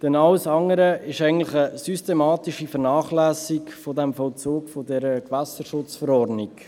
Denn alles andere ist eigentlich eine systematische Vernachlässigung des Vollzugs dieser Gewässerschutzverordnung.